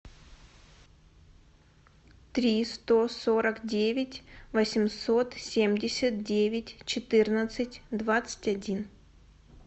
три сто сорок девять восемьсот семьдесят девять четырнадцать двадцать один